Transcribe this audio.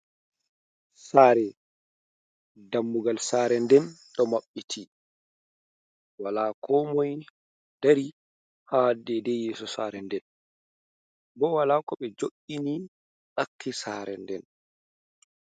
Sare, dammugal saare nden ɗo maɓɓiti. Wola komoi dari ha dedei yeso sare nden. Bo wola ko ɓe jo'ini ɗakki saare nden.